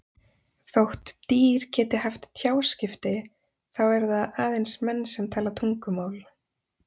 Þótt dýr geti haft tjáskipti þá eru það aðeins menn sem tala tungumál.